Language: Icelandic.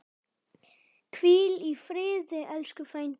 Hvíl í friði, elsku frændi.